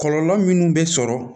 Kɔlɔlɔ minnu bɛ sɔrɔ